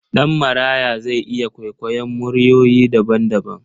Ɗanmaraya zai iya kwaikwayon muryoyi daban-daban.